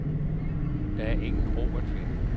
Der er ingen ro at finde.